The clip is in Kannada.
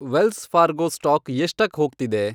ವೆಲ್ಸ್ ಫಾರ್ಗೊ ಸ್ಟಾಕ್ ಎಷ್ಟಕ್ ಹೋಗ್ತಿದೆ